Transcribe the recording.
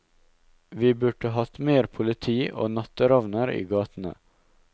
Vi burde hatt mer politi og natteravner i gatene.